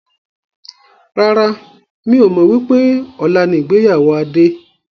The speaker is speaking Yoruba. Rárá, mi ò mọ wípé ọ̀la ni ìgbéyàwó Adé.